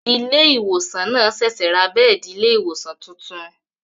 Ilé ìwòsàn náà ṣẹ̀ṣẹ̀ ra bẹ́ẹ̀di ilé ìwòsàn tuntun